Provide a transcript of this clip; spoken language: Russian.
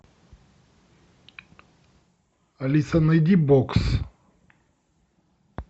алиса найди бокс